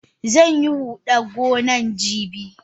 Zanyi hudan gonan jibi.